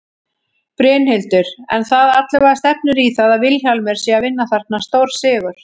Brynhildur: En það allavega stefnir í það að Vilhjálmur sé að vinna þarna stórsigur?